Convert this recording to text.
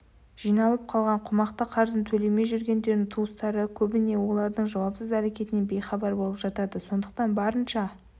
жиналып қалған қомақты қарызын төлемей жүргендердің туыстары көбіне олардың жауапсыз әрекетінен бейхабар болып жатады сондықтан барынша